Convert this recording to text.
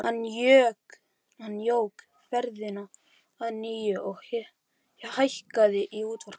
Hann jók ferðina að nýju og hækkaði í útvarpinu.